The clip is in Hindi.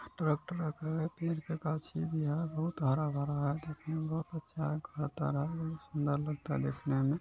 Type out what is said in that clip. अ ट्रक उरक है पेड़ पे गाछ है बिहार बहुत हरा-भरा है देखने में बहुत अच्छा है सुन्दर लगता है देखने में।